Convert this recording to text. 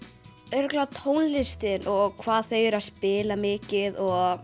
örugglega tónlistin og hvað þau eru að spila mikið og